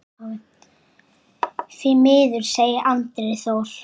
Því miður, segir Andri Þór.